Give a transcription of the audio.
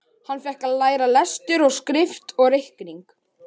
Hann fékk að læra lestur og skrift og reikning.